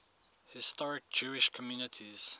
historic jewish communities